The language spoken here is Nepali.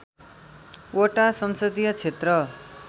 वटा संसदीय क्षेत्र